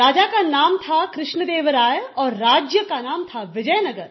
राजा का नाम था कृष्ण देव राय और राज्य का नाम था विजयनगर